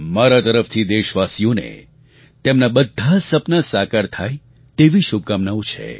મારા તરફથી દેશવાસીઓને તેમનાં બધાં સપનાં સાકાર થાય તેવી શુભકામનાઓ છે